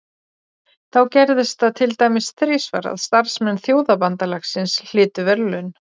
Þá gerðist það til dæmis þrisvar að starfsmenn Þjóðabandalagsins hlytu verðlaun.